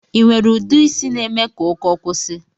Inwere ude isi na-eme ka ụkọ kwusi?